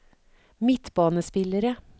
midtbanespillere